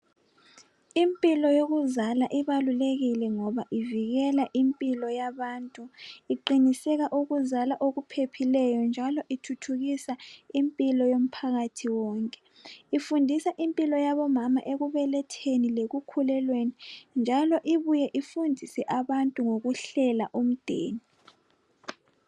Impilo yokuzala ibalulekile ngoba ivikela impilo yabantu iqiniseka ukuzala okuphephileyo njalo ithuthukisa impilo yomphakathi wonke ifundisa impilo yabomama ekubeletheni lekukhulelweni njalo ibuye ifundise abantu ngokuhlela umdeni.